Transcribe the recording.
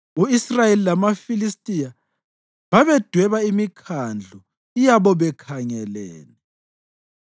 U-Israyeli lamaFilistiya babedweba imikhandlu yabo bekhangelene.